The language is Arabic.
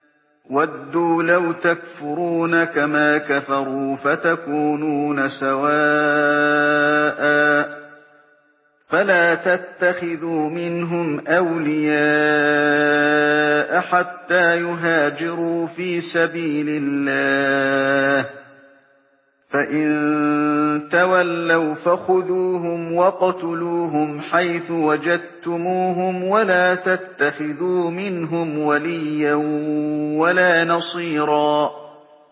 وَدُّوا لَوْ تَكْفُرُونَ كَمَا كَفَرُوا فَتَكُونُونَ سَوَاءً ۖ فَلَا تَتَّخِذُوا مِنْهُمْ أَوْلِيَاءَ حَتَّىٰ يُهَاجِرُوا فِي سَبِيلِ اللَّهِ ۚ فَإِن تَوَلَّوْا فَخُذُوهُمْ وَاقْتُلُوهُمْ حَيْثُ وَجَدتُّمُوهُمْ ۖ وَلَا تَتَّخِذُوا مِنْهُمْ وَلِيًّا وَلَا نَصِيرًا